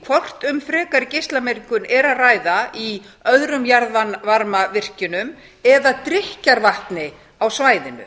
hvort um frekari geislamengun er að ræða í öðrum jarðvarmavirkjunum eða drykkjarvatni á svæðinu